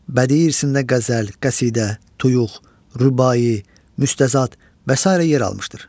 Bədii irsində qəzəl, qəsidə, tuyuq, rübai, müstəzad və sairə yer almışdır.